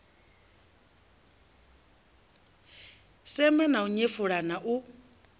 sema na u nyefula u